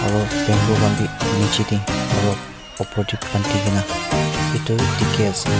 aro bamboo khan bi nichiti aro upor tey bhandikena itu dikhi ase.